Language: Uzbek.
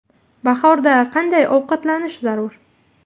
Bahorda qanday ovqatlanish zarur?.